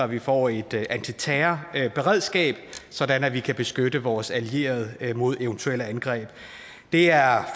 vi får et antiterrorberedskab sådan at vi kan beskytte vores allierede mod eventuelle angreb det er